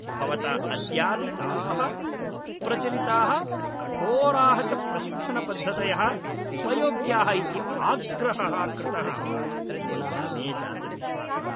भवता अद्यापि ताः अप्रचलिताः कठोराः च प्रशिक्षणपद्धतयः उपयोग्याः इति आग्रहः कृतः इति न मे जातु विश्वासः।